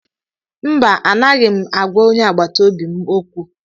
Mba, anaghị m agwa onye agbata obi m okwu